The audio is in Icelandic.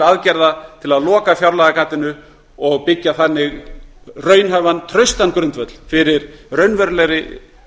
aðgerða til að loka fjárlagagatinu og byggja þannig raunhæfan og traustan grundvöll fyrir raunverulegri